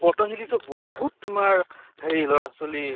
পতন্জালি তো বহুত তোমাৰ হেৰি লʼৰা ছলী